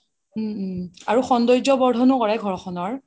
উম উম সৌন্দৰ্য বৰ্ধনও কৰে ঘৰখনৰ